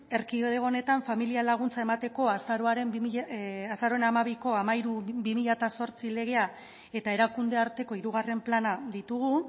erkidego honetan familia laguntza emateko azaroaren hamabiko hamairu barra bi mila zortzi legea eta erakunde arteko hirugarren plana ditugu